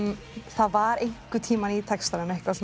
það var einhvern tímann í textanum eitthvað